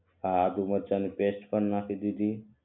હા આદુ મરચાંની પેસ્ટ પણ નાખી દીધી